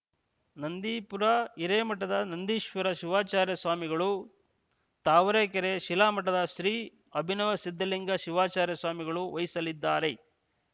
ನಂದೀಪುರ ಹಿರೇಮಠದ ನಂದೀಶ್ವರ ಶಿವಾಚಾರ್ಯ ಸ್ವಾಮಿಗಳು ತಾವರೆಕೆರೆ ಶಿಲಾ ಮಠದ ಶ್ರೀ ಅಭಿನವ ಸಿದ್ಧಲಿಂಗ ಶಿವಾಚಾರ್ಯ ಸ್ವಾಮಿಗಳು ವಹಿಸಲಿದ್ದಾರೆ